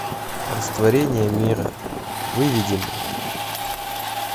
растворение мира выведи мне